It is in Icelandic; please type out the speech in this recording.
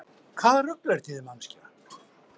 Hvaða rugl er þetta í þér manneskja!